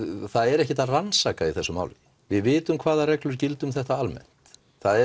það er ekkert að rannsaka í þessu máli við vitum hvaða reglur gilda um þetta almennt